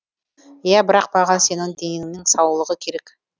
ия бірақ маған сенің деніңнің саулығы керек